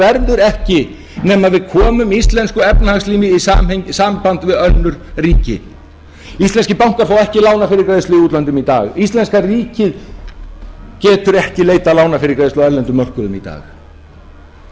verður ekki nema við komum íslensku efnahagslífi í samband við önnur ríki íslenskir bankar fá ekki lánað fyrir greiðslu í útlöndum í dag íslenska ríkið getur ekki leitað lánafyrirgreiðslu á erlendum mörkuðum í dag